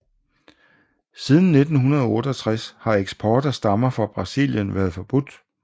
Siden 1968 har eksport af stammer fra Brasilien været forbudt